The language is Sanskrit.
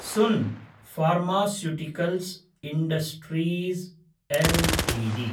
सुन् फार्मास्यूटिकल्स् इण्डस्ट्रीज् एलटीडी